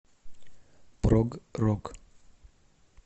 прог рок